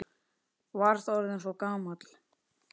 Varst orðinn svo gamall.